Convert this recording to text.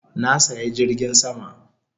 Na saya jirgin sama